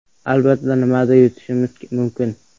Albatta, nimadir yutishimiz mumkin.